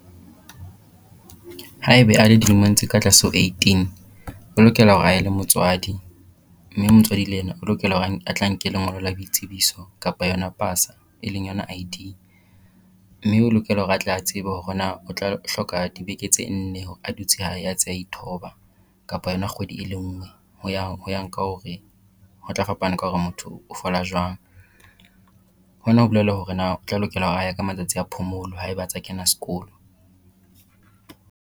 Haeba a le dilemong tse ka tlase ho eighteen, o lokela hore a ye le motswadi mme motswadi le yena o lokela hore a tla nke lengolo la boitsebiso kapa yona pasa e leng yona I_D. Mme o lokela hore atla tsebe hore na o tla hloka dibeke tse nne a dutse hae a tse a ithoba kapa yona kgwedi e le ngwe ho ya ho ya ka hore ho tla fapana ka hore motho o fola jwang. Hona ho bolela hore na o tla lokela ho ya ka matsatsi a phomolo haeba a tsa a kena sekolo.